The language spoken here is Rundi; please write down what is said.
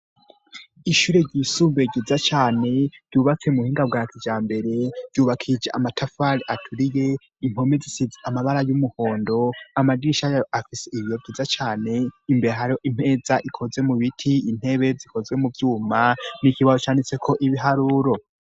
Ishure ryisumbe ryiza cane ryubatse mu buhinga bwakijambere ryubakishije amatafari aturiye impome zisize amabara y'umuhondo amadirisha yayo afise ibiyo vyiza cane imbere hariho imeza ikozwe mu biti, intebe zikozwe mu vyuma n'ikibaho canditse ko ibiharuro.